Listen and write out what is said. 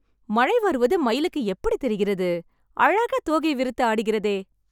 மழை வருவது மயிலுக்கு எப்படி தெரிகிறது... அழகா தோகை விரித்து ஆடுகிறதே...